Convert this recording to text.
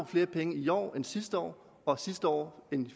flere penge i år end sidste år og sidste år end